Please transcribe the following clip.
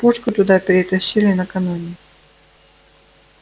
пушку туда перетащили накануне